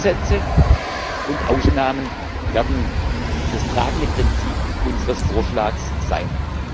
Grundsätze und Ausnahmen werden das tragende Prinzip unseres Vorschlags sein.